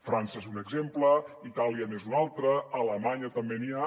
frança n’és un exemple itàlia n’és un altre a alemanya també n’hi ha